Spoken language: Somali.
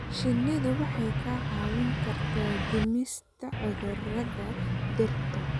Shinnidu waxay kaa caawin kartaa dhimista cudurrada dhirta.